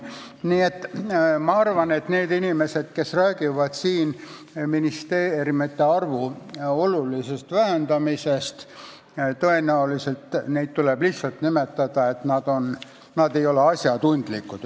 Nii et ma arvan, et need inimesed, kes räägivad siin ministeeriumide arvu olulisest vähendamisest –nende kohta tõenäoliselt tuleb öelda, et nad ei ole asjatundlikud.